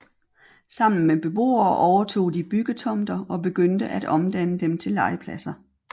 Sammen med beboere overtog de byggetomter og begyndte at omdanne dem til legepladser